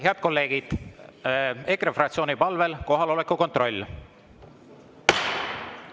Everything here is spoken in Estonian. Head kolleegid, EKRE fraktsiooni palvel kohaloleku kontroll.